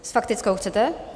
S faktickou chcete?